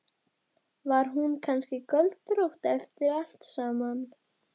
Enn er Bakkus eins og fyrr athvarf Teits og Dóra.